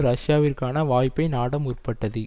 ரஷ்யாவிற்கான வாய்ப்பை நாட முற்பட்டது